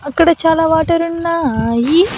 అక్కడ చాలా వాటర్ ఉన్నాయి.